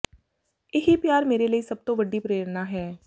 ਇਹੀ ਪਿਆਰ ਮੇਰੇ ਲਈ ਸਭ ਤੋਂ ਵੱਡੀ ਪ੍ਰੇਰਨਾ ਹੈ